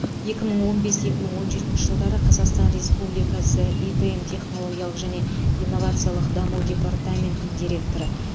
екі мың он бес екі мың он жетінші жылдары қазақстан республикасы идм технологиялық және инновациялық даму департаментінің директоры